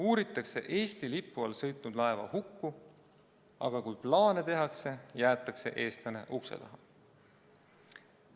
Uuritakse Eesti lipu all sõitnud laeva hukku, aga kui plaane tehakse, jäetakse eestlane ukse taha.